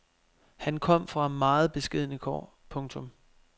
Han kom fra meget beskedne kår. punktum